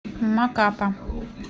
макапа